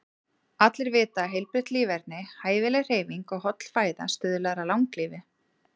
Allir vita að heilbrigt líferni, hæfileg hreyfing og holl fæða stuðlar að langlífi.